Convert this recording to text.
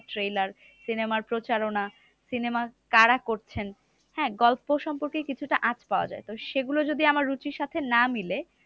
Trailer cinema র প্রচারণা cinema কারা করছেন? হ্যাঁ গল্প সম্পর্কে কিছুটা আঁচ পাওয়া যায়। সেগুলো যদি আমার রুচির সাথে না মিলে,